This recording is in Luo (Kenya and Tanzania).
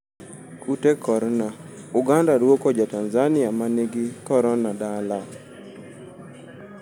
Kute korna: Uganda duoko ja tanzania ma ningi korona dala.